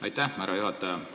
Aitäh, härra juhataja!